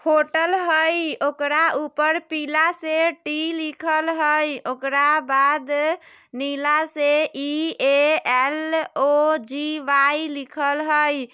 होटल हय ओकरा ऊपर पीला से टी लिखल हय ओकरा बाद नीला से E A L O G Y लिखल हय।